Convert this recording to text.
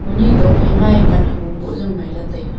eni tokphai ma e pan hagong boh jaw ngaila taiga.